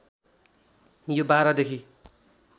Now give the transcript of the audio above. यो १२ देखि